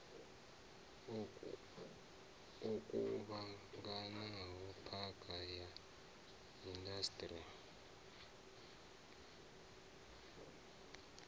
o kuvhanganaho phakha ya indasiṱiri